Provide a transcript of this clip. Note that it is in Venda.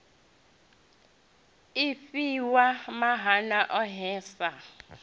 i fhiwa maana ohe sa